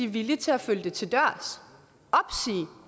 villige til at følge det til dørs